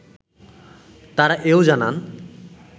তাঁরা এও জানান